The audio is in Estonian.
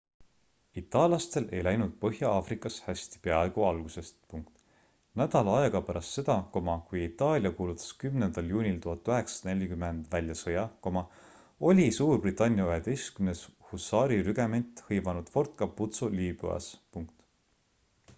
itallaastel ei läinud põhja-aafrikas hästi peaaegu algusest nädal aega pärast seda kui itaalia kuulutas 10 juunil 1940 välja sõja oli suurbritannia 11 husaarirügement hõivanud fort capuzzo liibüas